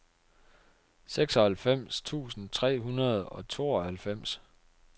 seksoghalvfems tusind tre hundrede og tooghalvfems